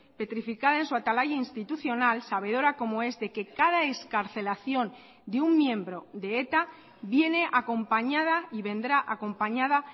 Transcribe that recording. petrificada en su atalaya institucional sabedora como es de que cada excarcelación de un miembro de eta viene acompañada y vendrá acompañada